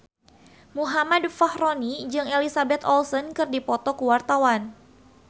Muhammad Fachroni jeung Elizabeth Olsen keur dipoto ku wartawan